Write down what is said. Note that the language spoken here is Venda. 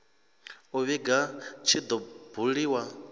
u vhiga tshi do buliwa